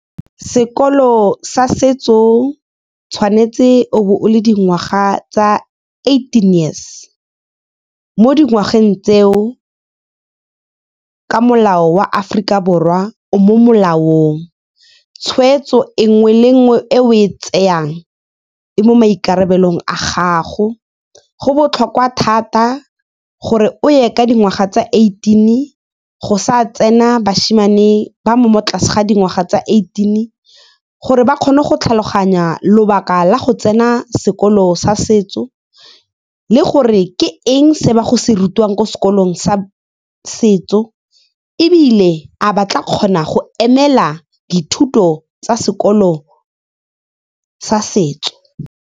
Sekolo sa setso tshwanetse o be o le dingwaga tsa eighteen years. Mo dingwageng tseo, ka molao wa Aforika Borwa, o mo molaong. Tshweetso e nngwe le nngwe e o e tseang e mo maikarabelo a gago. Go botlhokwa thata gore o ye ka dingwaga tsa eighteen, go sa tsena bashimane ba mo mo tlase ga dingwaga tsa eighteen, gore ba kgone go tlhaloganya lobaka la go tsena sekolo sa setso le gore ke eng se ba go se rutiwang ko sekolong sa setso, ebile a ba tla kgona go emela dithuto tsa sekolo sa setso.